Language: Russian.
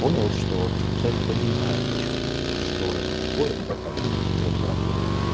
понял что человек понимает о чем говорит что это такое и как она плюс-минус работы